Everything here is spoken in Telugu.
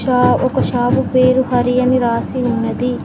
ఇక్కడ ఒక షాపు పేరు హరి అని రాసి ఉన్నది.